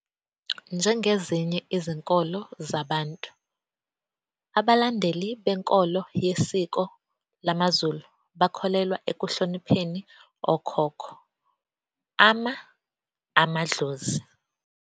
Njengezinye izinkolo zamaBantu, abalandeli benkolo yesiko lamaZulu bakholelwa ekuhlonipheni okhokho, Ama-Amadlozi.